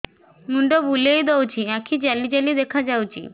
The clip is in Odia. ମୁଣ୍ଡ ବୁଲେଇ ଦଉଚି ଆଖି ଜାଲି ଜାଲି ଦେଖା ଯାଉଚି